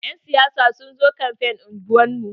Yan siyasa sun zo kamfen unguwar mu.